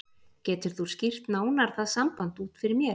Getur þú skýrt nánar það samband út fyrir mér?